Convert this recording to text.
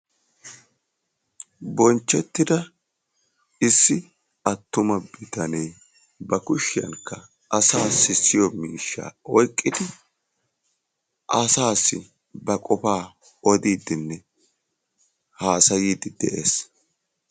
Bonchchettidda issi attuma bitanne ba kushshiyaan asaa sissiyo miishshaa oyqqidi asaasi ba qofaa odiddinne haasayddi de'es.